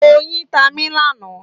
Oyin tá mí lánàá.